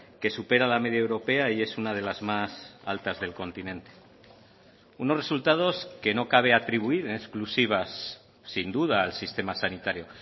que supera la media europea y es una de las más altas del continente unos resultados que no cabe atribuir en exclusivas sin duda al sistema sanitario